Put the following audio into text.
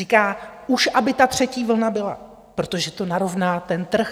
Říká: Už aby ta třetí vlna byla, protože to narovná ten trh.